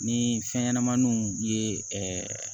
Ni fɛn ɲɛnɛmaninw ye ɛɛ